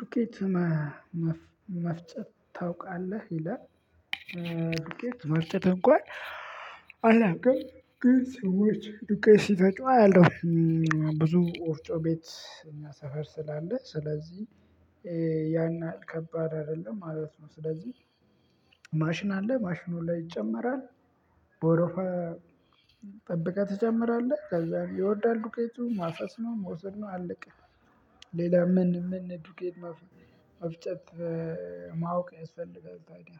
ዱቄት መ መፍ መፍጨት ታውቃለህ ይላል። ዱቄት መፍጨት እንኳን አላቅም ግን ሰዎች ዱቄት ሲፈጩ አያለሁ። ብዙ ወፍጮ ቤት እኛ ሰፈር ስላለ ስለዚህ ያን ያህል ከባድ አይደለም ማለት ነው። ስለዚህ ማሽን አለ ማሽኑ ላይ ይጨመራል። በወረፋ ጠብቀህ ትጨምራለህ ከዛን ይወርዳል ዱቄቱ ማፈስ ነው መውሰድ ነው አለቀ። ሌላ ምን ምን ዱቄት መፍ መፍጨት? ማወቅ ያስፈልጋል ታዲያ